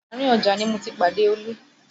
Àárín ọjà ni mo ti pàdé Olú